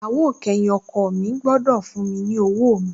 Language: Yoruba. Ìyàwó kẹyìn ọkọ̀ mi gbọ́dọ̀ fún mi lọ́wọ́ mi